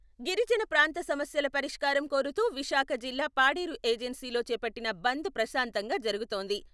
గిరిజన ప్రాంత సమస్యల పరిష్కారం కోరుతూ విశాఖ జిల్లా పాడేరు ఏజెన్సీలో చేపట్టిన బంద్ ప్రశాంతంగా జరుగుతోంది.